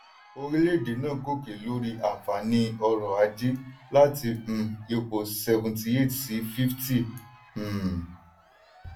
orílẹ̀-èdè náà gòkè lórí àǹfààní ọ̀rọ̀ ajé láti um ipò 78 sí 50. um